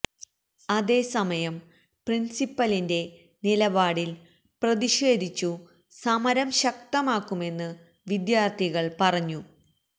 അതേ സമയം പ്രിൻസിപ്പലിന്റെ നിലപാടിൽ പ്രതിഷേധിച്ചു സമരം ശക്തമാക്കുമെന്ന് വിദ്യാർത്ഥികൾ പറഞ്ഞു